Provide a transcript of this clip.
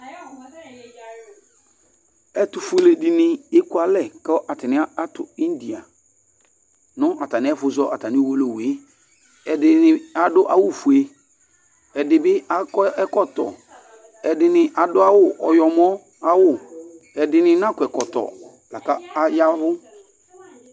Ɛtufuele dini ekualɛ, kɔ atani atù India nu atami ɛfu zɔ uwolowu, ɛdini adu awù fue, ɛdi bi akɔ ɛkɔtɔ, ɛdini adu awù ɔyɔmɔ ayi awù, ɛdini na kɔ ɛkɔtɔ la ku aya vu